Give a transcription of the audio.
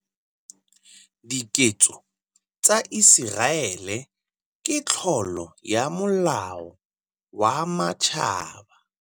Diketso tsa Iseraele ke tlolo ya molao wa Matjhaba.